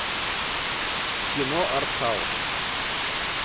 кино артхаус